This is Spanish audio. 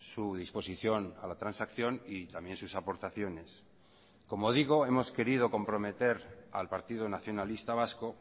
su disposición a la transacción y también sus aportaciones como digo hemos querido comprometer al partido nacionalista vasco